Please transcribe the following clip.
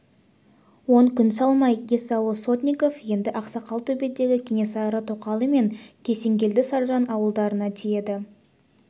он күн салмай есауыл сотников енді ақсақал төбедегі кенесары тоқалы мен есенгелді саржан ауылдарына тиеді